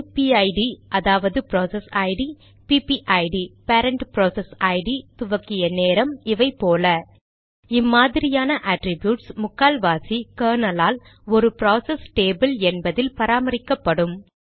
அது பிஐடிPIDஅதாவது process ID பிபிஐடிPPIDபேரன்ட் ப்ராசஸ் ஐடி துவக்கிய நேரம் இவை போல இம்மாதிரியான அட்ரிப்யூட்ஸ் முக்கால்வாசி கெர்னல் ஆல் ஒரு ப்ராசஸ் டேபிள் என்பதில் பராமரிக்கப்படும்